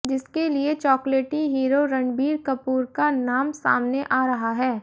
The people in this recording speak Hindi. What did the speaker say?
जिसके लिए चाॅकलेटी हीरो रणबीर कपूर का नाम सामने आ रहा है